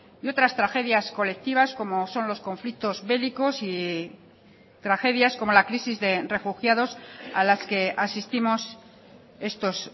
y otras tragedias colectivas como son los conflictos bélicos y tragedias como la crisis de refugiados a las que asistimos estos